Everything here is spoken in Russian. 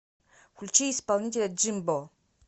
включи исполнителя джимбо